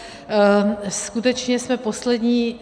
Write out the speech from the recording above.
Skutečně jsme poslední.